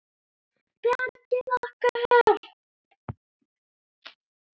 Bjargið okkur!